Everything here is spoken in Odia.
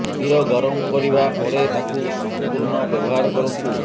କ୍ଷୀର ଗରମ କରିବା ପରେ ତାକୁ ସଂପୂର୍ଣ୍ଣ ବ୍ୟବହାର କରନ୍ତୁ